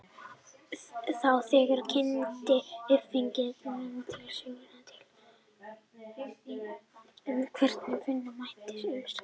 Þá þegar kynnti uppfinningamaðurinn til sögunnar tillögur um hvernig vinna mætti á umsátrinu.